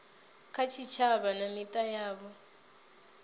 kha tshitshavha na mita yavho